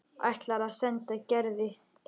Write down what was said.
Ætlar að senda Gerði eintak.